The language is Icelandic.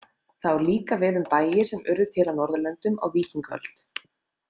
Það á líka við um bæi sem urðu til á Norðurlöndum á víkingaöld.